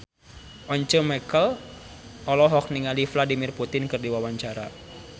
Once Mekel olohok ningali Vladimir Putin keur diwawancara